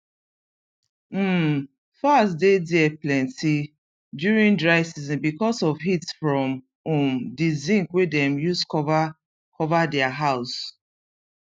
um fowls dey dia plenty during dry season because of heat from um the zinc wey dem use cover cover dia house